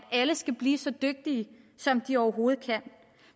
alle skal blive så dygtige som de overhovedet kan